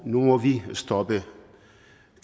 nu må vi stoppe